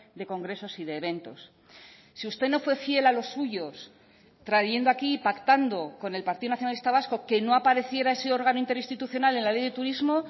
de congresos y de eventos si usted no fue fiel a los suyos trayendo aquí y pactando con el partido nacionalista vasco que no apareciera ese órgano interinstitucional en la ley de turismo